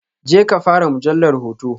Jeka fara mujallar hoto.